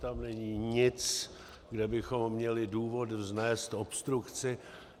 Tam není nic, kde bychom měli důvod vznést obstrukci.